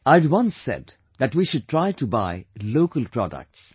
I had once said that we should try to buy local products